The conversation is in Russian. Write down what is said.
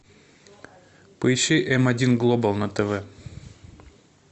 поищи м один глобал на тв